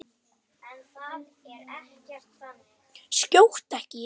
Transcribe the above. Skjóttu ekki.